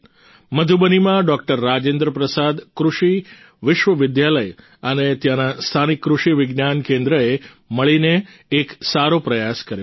મધુબનીમાં doctor Rajendra Prasad કૃષિ વિશ્વવિદ્યાલય અને ત્યાંના સ્થાનિક કૃષિ વિજ્ઞાન કેન્દ્રએ મળીને એક સારો પ્રયાસ કર્યો છે